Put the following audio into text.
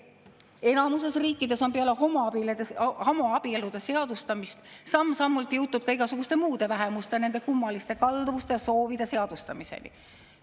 Enamikus riikides on peale homoabielude seadustamist samm-sammult jõutud ka igasuguste muude vähemuste, nende kummaliste kalduvuste ja soovide seadustamiseni.